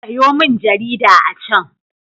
Sayo min jarida a can.